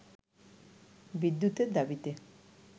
বিদ্যুতের দাবিতে